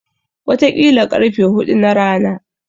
Wataƙila ƙarfe huɗu na rana.